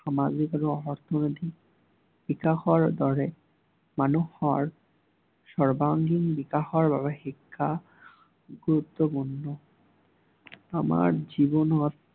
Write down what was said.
সমাজৰ বাবে বিকাশৰ দৰে, মানুহৰ সৰ্বাংগীন বিকাশৰ বাবে শিক্ষা গুৰুত্বপূৰ্ণ। আমাৰ জীৱনত